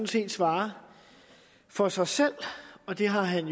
set svare for sig selv og det har han